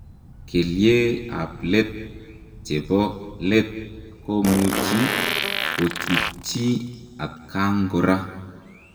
Kelyee ap leet chepoo leet komuchii kochutchii atkaang koraaa